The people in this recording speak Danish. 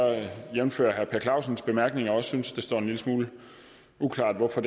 jævnfør herre per clausens bemærkninger også synes at det står en lille smule uklart hvorfor